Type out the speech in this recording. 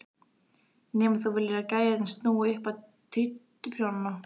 Nema þú viljir að gæjarnir snúi upp á títuprjónana!